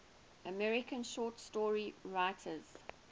american short story writers